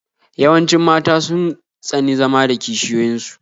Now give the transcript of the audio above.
Yawancin mata sun tsani zama da kishiyoyin su